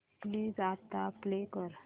please आता play कर